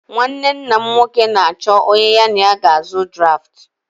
Nnwanne nna m nwoke na-achọ onye ya na ya ga-azụ draftụ